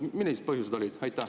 Millised põhjused olid?